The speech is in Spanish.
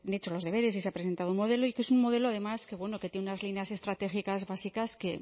hecho los deberes y se ha presentado un modelo y que es un modelo además que tiene unas líneas estratégicas básicas que